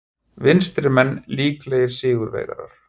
Vinstrimenn líklegir sigurvegarar